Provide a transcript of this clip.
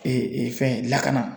fɛn lakana